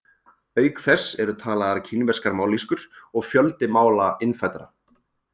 Auk þess eru talaðar kínverskar mállýskur og fjöldi mála innfæddra.